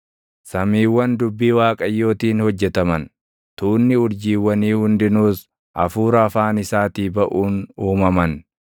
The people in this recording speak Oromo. Samiiwwan dubbii Waaqayyootiin hojjetaman; tuunni urjiiwwanii hundinuus // hafuura afaan isaatii baʼuun uumaman.